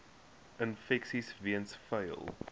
infeksies weens vuil